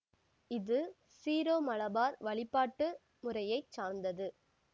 இது சீரோமலபார் வழிபாட்டு முறையைச் சார்ந்தது